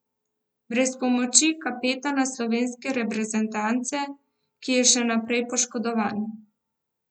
Brez pomoči kapetana slovenske reprezentance, ki je še naprej poškodovan.